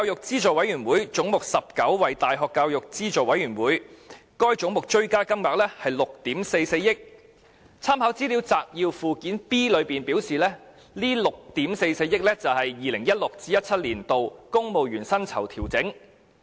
"總目190 ―大學教育資助委員會"，該總目的追加金額為6億 4,400 萬元，立法會參考資料摘要的附件 B 顯示，這是用於 2016-2017 年度公務員薪酬調整。